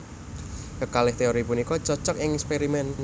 Kekalih téori punika cocok ing èkspèrimèn